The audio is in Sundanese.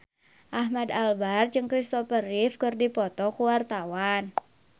Ahmad Albar jeung Kristopher Reeve keur dipoto ku wartawan